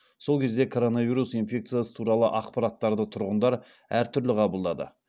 сол кезде коронавирус инфекциясы туралы ақпараттарды тұрғындар әртүрлі қабылдады